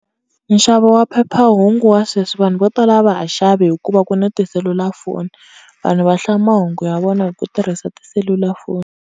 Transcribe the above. Nxavo wa phephahungu wa sweswi vanhu vo tala a va ha xavi hikuva ku ni tiselulafoni, vanhu va hlaya mahungu ya vona hi ku tirhisa tiselulafoni.